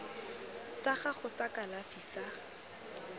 sa gago sa kalafi sa